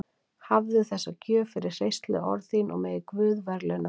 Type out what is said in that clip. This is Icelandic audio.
Hafðu þessa gjöf fyrir hreystileg orð þín og megi Guð verðlauna þig líka.